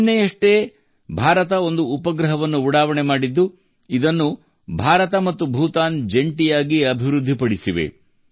ನಿನ್ನೆಯಷ್ಟೇ ಭಾರತ ಒಂದು ಉಪಗ್ರಹವನ್ನು ಉಡಾವಣೆ ಮಾಡಿದ್ದು ಇದನ್ನು ಭಾರತ ಮತ್ತು ಭೂತಾನ್ ಜಂಟಿಯಾಗಿ ಅಭಿವೃದ್ಧಿಪಡಿಸಿವೆ